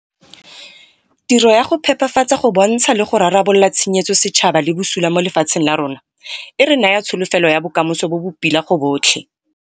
Tiro ya go phepafatsa go bontsha le go rarabolola tshenyetso setšhaba le bosula mo lefatsheng la rona, e re naya tsholofelo ya bokamoso bo bo pila go botlhe.